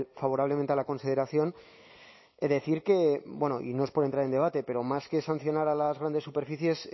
favorablemente a la consideración decir que bueno y no es por entrar en debate pero más que sancionar a las grandes superficies